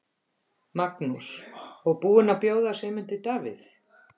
Magnús: Og búin að bjóða Sigmundi Davíð?